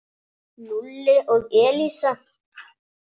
Lúlli og Elísa.